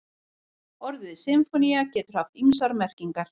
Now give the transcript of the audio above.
Orðið sinfónía getur haft ýmsar merkingar.